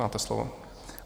Máte slovo.